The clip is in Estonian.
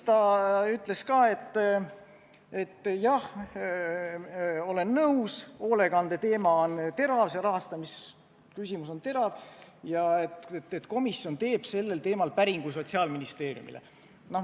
Ta ütles ka, et jah, olen nõus, hoolekandeteema on terav, see rahastamisküsimus on terav ja komisjon teeb sellel teemal päringu Sotsiaalministeeriumile.